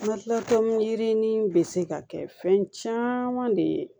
yirini be se ka kɛ fɛn caman de ye